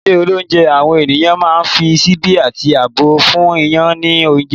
ní ilé olounje, awọn ènìyàn ma n fi síbi ati àbọ fún yan ni ounjẹ